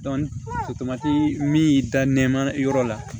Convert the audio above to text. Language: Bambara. min y'i da nɛma yɔrɔ la